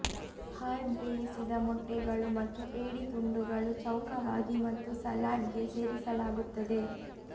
hard ಬೇಯಿಸಿದ ಮೊಟ್ಟೆಗಳು ಮತ್ತು ಏಡಿ ತುಂಡುಗಳು ಚೌಕವಾಗಿ ಮತ್ತು ಸಲಾಡ್ಗೆ ಸೇರಿಸಲಾಗುತ್ತದೆ